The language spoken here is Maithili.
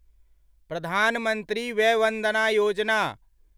प्रधान मंत्री वय वन्दना योजना